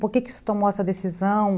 Por que você tomou essa decisão?